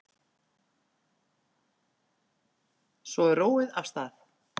Svo er róið af stað.